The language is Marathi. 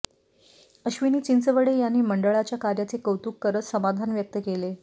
अश्विनी चिंचवडे यांनी मंडळाच्या कार्याचे कौतुक करत समाधान व्यक्त केले